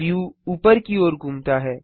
view ऊपर की ओर घूमता है